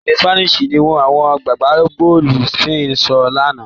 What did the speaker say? Èdè Spanish ni àwọn agbábọ̀ọ̀lù Spain ń sọ lánàá.